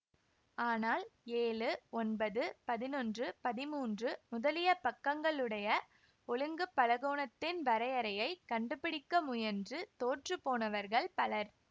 ஆனால் ஏழு ஒன்பது பதினொன்று பதிமூன்று முதலிய பக்கங்களுடைய ஒழுங்கு பலகோணத்தின் வரையறையைக் கண்டுபிடிக்க முயன்று தோற்றுப் போனவர்கள் பலர்